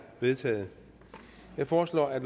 vedtaget jeg foreslår at